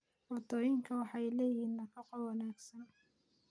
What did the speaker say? Cuntooyinkani waxay leeyihiin nafaqo wanaagsan